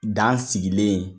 Dan sigilen